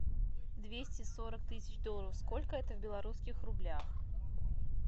двести сорок тысяч долларов сколько это в белорусских рублях